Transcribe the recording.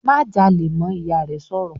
"Má jalè mọ́!", Ìyá rẹ̀ sọ̀rọ̀